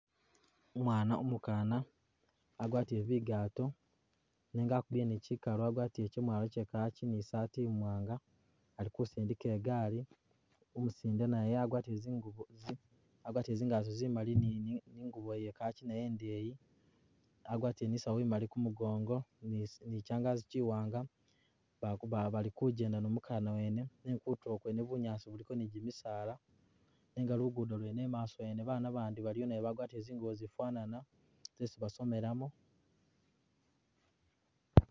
Umwana umukana agwatiĺe bigaato nenga akubile ni kyikalu wagwatile kyemwalo kye kirk ni saati imwanga Ali kusundika igaali ,umusinde naye agwatile zingubo zi agwatile zingaato zimali ni ingubo ye kirk naye indeyi ,agwatile ni'sawu imali kumugongo ni zi ni kyangazi kyi'wanga Baku balikujjenda ni umukana wene nenga kutulo kwene bunyaasi buliko ni gyimisaala, nenga lugudo lwene imaaso yene baana bandi baliyo bagwatile zingubo zifanana zesi basomelamo